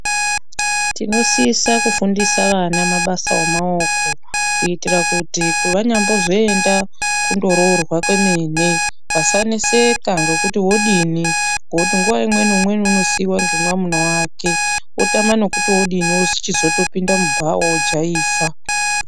Tinosisa kufundisa vana mabasa emaoko kuitira kuti pavanazoenda kundororwa kwemene vasaneseka ngokuti vodini ngokuti nguwa imweni umweni anosiiwa ngomwamuna wake otama nekuti odini ochizopinda kubhawa ojaivha.